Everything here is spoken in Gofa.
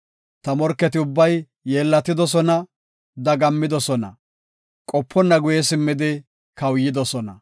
Ta morketi ubbay yeellatidosona; dagammidosona; qoponna guye simmidi kawuyidosona.